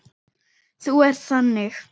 Þú ert þannig.